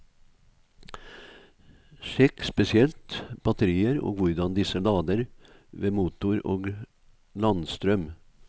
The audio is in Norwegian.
Sjekk spesielt batterier og hvordan disse lader ved motor og landstrøm.